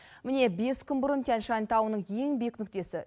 міне бес күн бұрын тянь шань тауының ең биік нүктесі